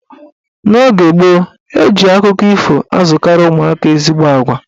N'oge gboo, eji akụkọ ifo akụziri ụmụaka ezigbo agwa.